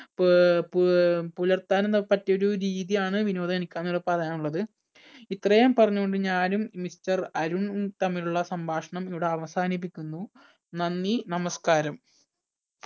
പുപുപുലർത്താനും പപറ്റിയ ഒരു രീതിയാണ് വിനോദം എനിക്ക് ഇന്നിവിടെ പറയാനുള്ളത് ഇത്രയും പറഞ്ഞുകൊണ്ട് ഞാനും mister അരുണും തമ്മിലുള്ള സംഭാഷണം ഇവിടെ അവസാനിപ്പിക്കുന്നു. നന്ദി, നമസ്കാരം.